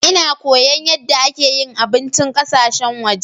Nna koya yadde ake yin abincin ƙasashen waje.